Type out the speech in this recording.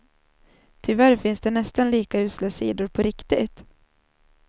Tyvärr finns det nästan lika usla sidor, på riktigt.